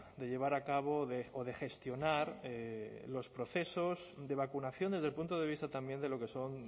de llevar a cabo o de gestionar los procesos de vacunación desde el punto de vista también de lo que son